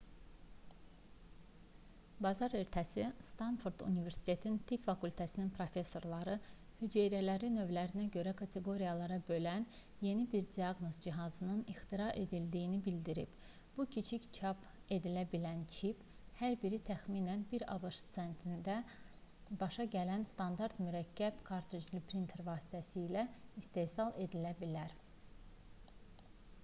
bazar ertəsi stanford universitetinin tibb fakültəsinin professorları hüceyrələri növlərinə görə kateqoriyalara bölən yeni bir diaqnoz cihazının ixtira edildiyini bildirib bu kiçik çap edilə bilən çip hər biri təxminən 1 abş sentinə başa gələn standart mürəkkəb kartricli printerlər vasitəsilə istehsal edilə bilər